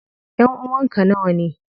Ƴanʼuwan ka nawane?